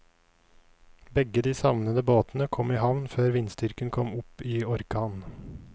Begge de savnede båtene kom i havn før vindstyrken kom opp i orkan.